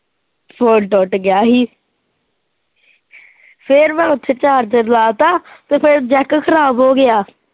phone ਟੁੱਟ ਗਿਆ ਸੀ ਫਿਰ ਮੈਂ ਉੱਥੇ ਚਾਰਜਰ ਲਾ ਤਾ ਫਿਰ ਜੈਕ ਖਰਾਬ ਹੋ ਗਿਆ।